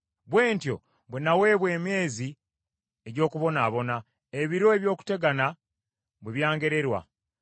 bwe ntyo bwe nnaweebwa emyezi egy’okubonaabona, ebiro ebyokutegana bwe byangererwa.